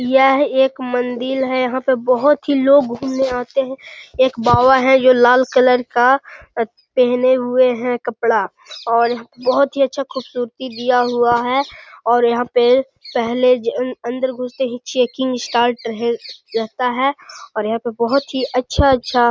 यह एक मंदिर है यहाँ पे बहुत ही लोग घुमने आते हैं एक बाबा है जो लाल कलर का पहने हुए हैं कपड़ा और बहुत ही अच्छा खूबसूरती दिया हुआ है और यहाँ पे पहले अम अंदर घुसते ही चेकिंग स्टार्ट अम रह रहता है और यहाँ पे बहुत ही अच्छा-अच्छा --